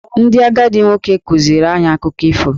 Ndị agadi nwoke kụziiri anyị akụkọ ifo.